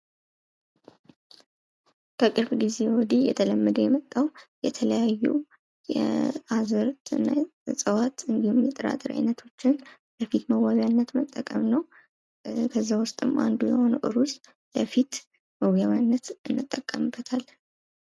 ከቅርብ ጊዜ ወዲህ እየተለመደ የመጣው አዝዕርት ወይም ጥራጥሬ አይነቶችን ለፊት መዋቢያነት እንጠቀማለን። ከእነዚህም አንዱ ሩዝ ለፊት መዋቢያነት እንጠቀምበታለን